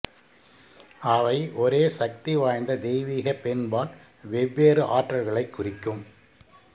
அவை ஒரே சக்திவாய்ந்த தெய்வீக பெண்பால் வெவ்வேறு ஆற்றல்களைக் குறிக்கும்